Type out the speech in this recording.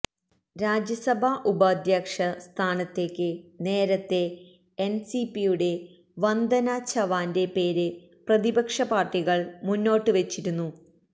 രാജ്യസഭാ ഉപാധ്യക്ഷ സ്ഥാനത്തേക്ക് നേരത്തെ എന്സിപിയുടെ വന്ദനാ ചവാന്റെ പേര് പ്രതിപക്ഷ പാര്ട്ടികള് മുന്നോട്ട് വെച്ചിരുന്നു